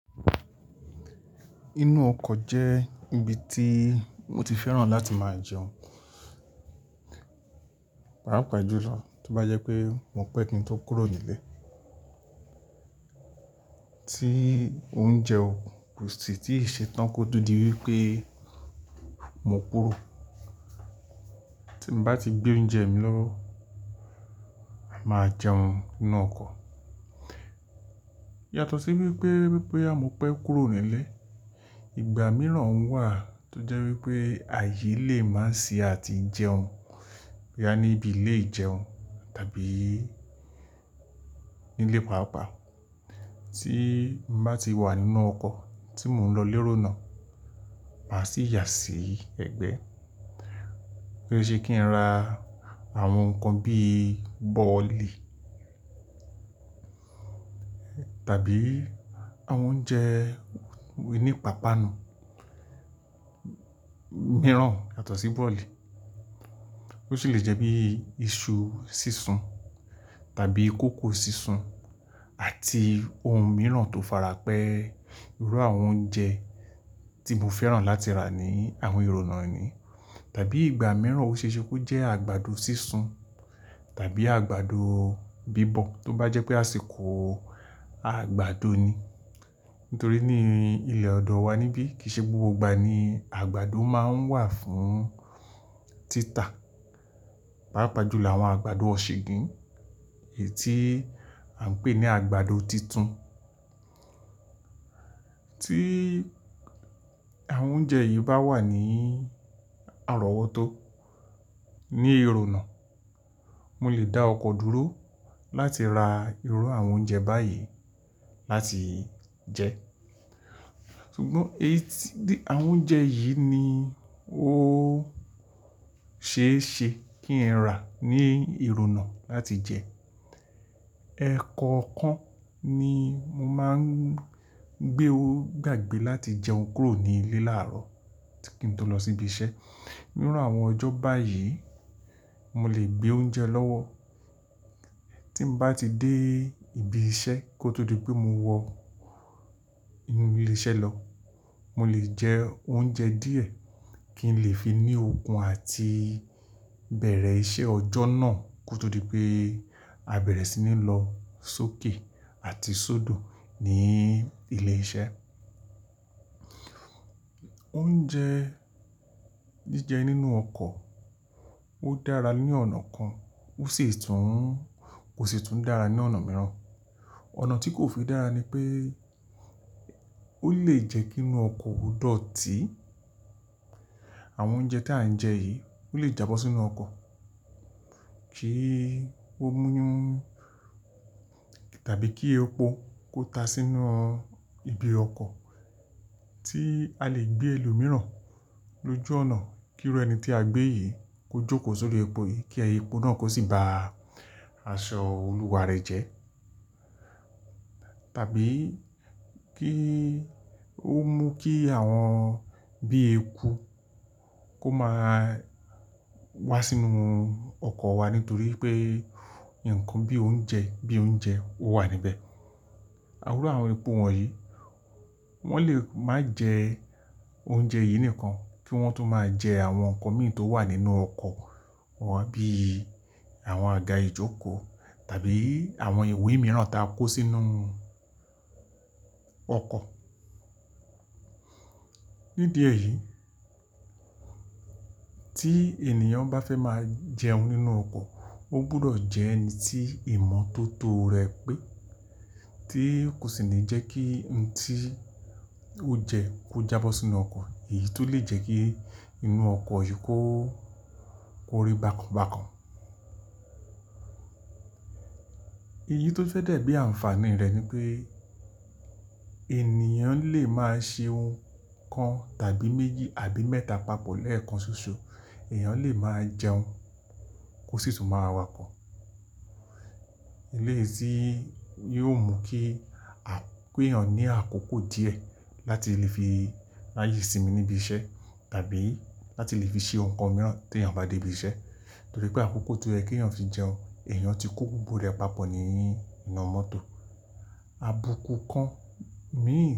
Inú ọkọ̀ jẹ́ ibi tí mo ti fẹ́ràn láti máa jẹun, pàápàá jùlọ tó bá jẹ́ pé mo pẹ́ kí n tó kúrò nílé. Tí oúnjẹ ko sì tí ì ṣe tán kó tó di wípé mo kúró. Tí mo bá ti gbé oúnjẹ mi lọ́wọ́, màá jẹun nínú ọkọ̀. Yàtọ̀ sí wípé, wípé boya mo pẹ́ kúrò nílé, ìgbà mìíràn wà tó jẹ́ wípé ààyè lè má sì á tí jẹun. Boya ní ibi ilè ijẹun tàbí ní ilé pàápàá. Tí n bá ti wà nínú ọkọ̀ tí mò ń lọ lérò náà, màá sì yà sí ẹ̀gbẹ́. Ó ṣe se kí n ra àwọn nǹkan bíi bọ́ọ̀lì tàbí àwọn oúnjẹ oní ipapànu mìíràn yàtọ̀ sí bọ́ọ̀lì. Ó sì lè jẹ́ bí i iṣu sísun tàbí kòkó sísun àti ohun mìíràn tó farapẹ́ irú àwọn oúnjẹ tí mo fẹ́ràn láti rà ní àwọn ìrònà yìí. Tàbí ìgbà mìíràn ó ṣe é ṣe kó jẹ́ àgbàdo sísun tàbí àgbàdo bíbọ̀ tó bá jẹ́ pé àsìkò àgbàdo ni. Nítorí ní ilẹ̀ ọ̀dọ̀ wa níbí, kìí ṣe gbogbo ìgbà ni àgbàdo máa ń wà fún títà. Pàápàá jùlọ àwọn àgbàdo ọ̀ṣugín, èyí tí à ń pè ní àgbàdo titun. Tí àwọn oúnjẹ yìí bá wà ní àrọ́wọ́tó ní ìrònà, mo lè dá ọkọ̀ dúró láti ra irú àwọn oúnjẹ báyìí láti jẹ. Sugbọn èyí- àwọn oúnjẹ yìí ni ó ṣe é ṣe kí n rà ní ìrònà láti jẹ. Ẹ̀kọọkan ni mo máa ń gbé o gbàgbé láti jẹun kúrò ní ilé láàárọ̀ kí n tó lọ sí ibi iṣẹ́. Níru àwọn ọjọ́ báyìí, mo lè gbé oúnjẹ lọ́wọ́. Tí n bá ti dé ibi iṣẹ́ kó tó di pé mo wọ inú ilé iṣẹ́ lọ, mo lè jẹ oúnjẹ díẹ̀ kí n lè fi ní okun àti bẹ̀rẹ̀ iṣẹ́ ọjọ́ náà kó tó di pé abẹ̀rẹ̀ sí ní lọ sókè àti sódò ní ilé iṣẹ́. Oúnjẹ jíjẹ nínú ọkọ̀ ó dára ní ọ̀nà kan, ó sì tún kò sì tún dára ní ọ̀nà mìíràn. Ọ̀nà tí kò fi dára ni pé ó lè jẹ́ kí inú ọkọ̀ ò dọ̀tii Àwọn oúnjẹ tí à ń jẹ yìí ó lè jábọ́ sínú ọkọ̀ kí ó mú tàbí kí epo kó ta sínú ibi ọkọ̀ tí a lè gbé ẹlòmíràn lójú ọ̀nà kí irú ẹni tí a gbé yìí kó jókòó sórí epo yìí kí epo náà kó sì ba aṣọ olùwà rẹ̀ jẹ́. Tàbí kí ó mú kí àwọn bíi eeku kó máa wá sínúu ọkọ̀ wa nítorí pé nǹkan bí i oúnjẹ, bí i oúnjẹ ó wà níbẹ̀. Àwọn irú àwọn eku wọ̀nyí wọ́n lè má jẹ oúnjẹ yìí nìkan kí wọ́n tó máa jẹ àwọn nǹkan mìí tó wà nínú ọkọ̀ wa bí i àwọn àga ìjókòó tàbí àwọn iwé mìíràn tí a kó sínú ọkọ̀. Nídìẹ yìí, tí ènìyàn bá fẹ́ máa jẹun nínú ọkọ̀, ó gbọdọ̀ jẹ́ ẹni tí ìmọ̀tó tó rẹ̀ pé tí kò sì ní jẹ́ kí n tí ó jẹ kó jábọ́ sínú ọkọ̀ èyí tó lè jẹ́ kí inú ọkọ̀ yìí kó kóri bákan bákan. Èyí tó fẹ́ dẹ̀ bí àǹfààní rẹ̀ ni pé ènìyàn lè máa se ohun kan tàbí méjì àbí mẹ́ta papọ̀ lẹ́ẹ̀kan ṣoṣo, èèyàn lè máa jẹun, kò sì tún máa wà okọ̀. Eléyi ti yóò mú kí pè eyàn ní àkókò díẹ̀ láti lè fi ráyè sinmi níbi iṣẹ́ tàbí láti lè fi ṣe ohun kan mìíràn tí èèyàn bá dé ibi iṣẹ́. Torí pé àkókò tí ó yẹ kí èèyàn fi jẹun, èèyàn ti kuku pu rẹ̀ papọ̀ nínú inu mọ́tò, abuku kan mìí.